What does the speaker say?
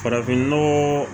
Farafinnɔgɔ